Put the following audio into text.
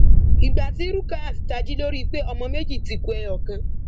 ìgbà tí rukayat tají ló rí i pé ọmọ méjì ti ku ẹyọ kan